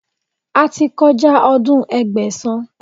A ti kọjá ọdún Ẹgbẹ̀sán.